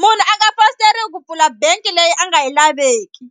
munhu a nga fositeriwi ku pfula bangi leyi a nga yi laveki.